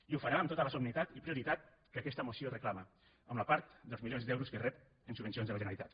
i ho farà amb tota la solemnitat i prioritat que aquesta moció reclama amb la part dels milions d’euros que rep en subvencions de la generalitat